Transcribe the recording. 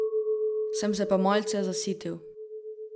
Sem se pa malce zasitil.